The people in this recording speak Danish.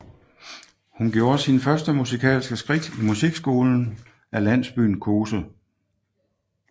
Hun gjorde sin første musikalske skridt i musikskolen af landsbyen Kose